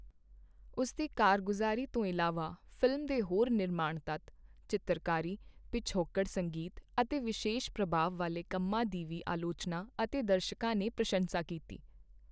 ਉਸ ਦੀ ਕਾਰਗੁਜ਼ਾਰੀ ਤੋਂ ਇਲਾਵਾ, ਫ਼ਿਲਮ ਦੇ ਹੋਰ ਨਿਰਮਾਣ ਤੱਤ, ਚਿੱਤਰਕਾਰੀ, ਪਿਛੋਕੜ ਸੰਗੀਤ ਅਤੇ ਵਿਸ਼ੇਸ਼ ਪ੍ਰਭਾਵ ਵਾਲੇ ਕੰਮਾਂ ਦੀ ਵੀ ਆਲੋਚਨਾ ਅਤੇ ਦਰਸ਼ਕਾਂ ਨੇ ਪ੍ਰਸ਼ੰਸਾ ਕੀਤੀ।